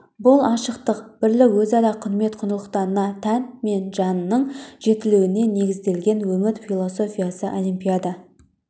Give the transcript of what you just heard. бұл ашықтық бірлік өзара құрмет құндылықтарына тән мен жанның жетілуіне негізделген өмір философиясы олимпиада